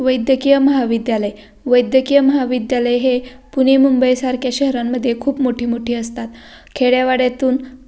वैद्यकीय महाविद्यालय वैद्यकीय महाविद्यालय हे पुणे मुबई सारख्या शहरामध्ये खूप मोठी मोठी असतात खेद्यावाड्यातून.